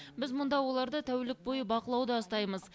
біз мұнда оларды тәулік бойы бақылауда ұстаймыз